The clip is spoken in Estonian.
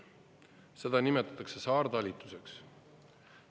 Seda nimetatakse saartalitusteks.